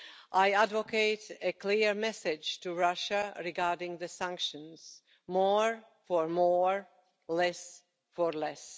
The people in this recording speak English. I advocate a clear message to Russia regarding the sanctions more for more, less for less'.